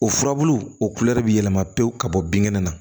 O furabulu o bɛ yɛlɛma pewu ka bɔ binkɛnɛ na